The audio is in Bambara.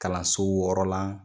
Kalanso wɔɔrɔ lan.